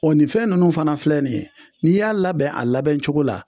O nin fɛn ninnu fana filɛ nin ye n'i y'a labɛn a labɛn cogo la